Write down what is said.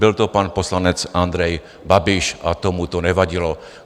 Byl to pan poslanec Andrej Babiš a tomu to nevadilo.